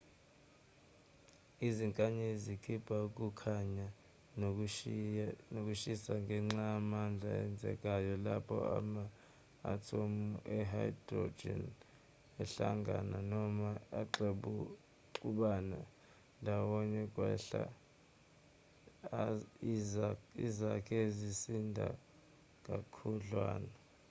izinkanyezi zikhipha ukukhanya nokushisa ngenxa yamandla enzekayo lapho ama-athomu e-hydrogen ahlangana noma axubana ndawonye ukwakha izakhi ezisinda kakhudlwana